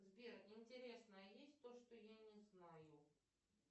сбер интересно а есть то что я не знаю